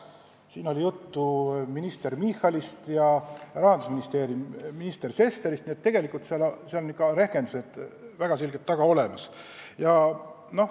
Siin oli juttu minister Michalist ja rahandusminister Sesterist, nii et tegelikult on eelnõul rehkendused väga selgelt taga olemas.